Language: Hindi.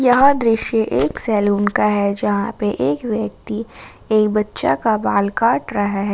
यह दृश्य एक सैलून का है जहां पर एक व्यक्ति एक बच्चा का बाल काट रहा है।